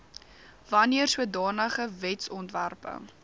wanneer sodanige wetsontwerpe